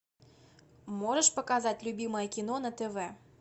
можешь показать любимое кино на тв